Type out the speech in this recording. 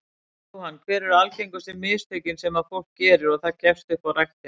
Jóhann: Hver eru algengustu mistökin sem að fólk gerir og það gefst upp á ræktinni?